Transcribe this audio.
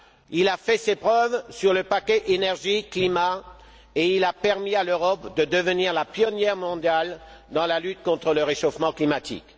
Il a fait ses preuves sur le paquet énergie climat et il a permis à l'Europe de devenir la pionnière mondiale dans la lutte contre le réchauffement climatique.